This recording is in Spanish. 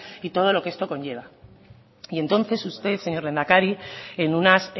y todo lo que esto conlleva y entonces usted señor lehendakari en unas